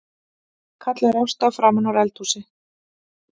kallar Ásta framanúr eldhúsi.